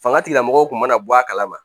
Fanga tigilamɔgɔw kun mana bɔ a kala ma